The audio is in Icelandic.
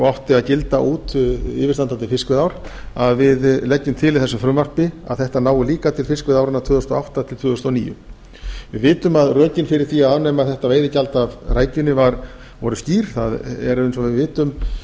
og átti að gilda út yfirstandandi fiskveiðiár að við leggjum til í þessu frumvarpi að þetta nái líka til fiskveiðiáranna tvö þúsund og átta til tvö þúsund og níu við vitum að rökin fyrir því að afnema þetta veiðigjald af rækjunni voru skýr eins og við vitum